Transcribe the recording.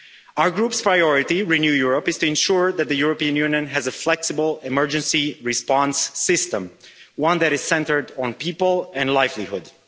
Our group's priority in Renew Europe is to ensure that the European Union has a flexible emergency response system, one that is centred on people and livelihoods.